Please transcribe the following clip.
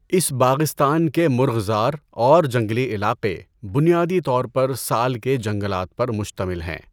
اس باغستان کے مرغزار اور جنگلی علاقے بنیادی طور پر سال کے جنگلات پر مشتمل ہیں۔